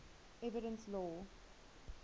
evidence law